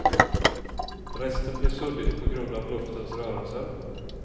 Resten blir suddigt på grund av luftens rörelser.